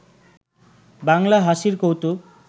বাংলা হাসির কৌতুক